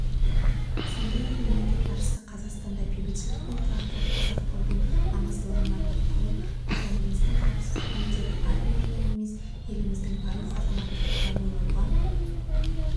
сондай-ақ мемлекет басшысы қазақстанда бейбітшілік пен тұрақтылықты сақтаудың маңыздылығына тоқталып отанымыздың қауіпсіздігін тек армия ғана емес еліміздің барлық азаматтары да ойлауға